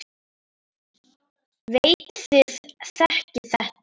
Veit þið þekkið þetta.